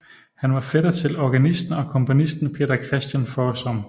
Han var fætter til organisten og komponisten Peter Christian Foersom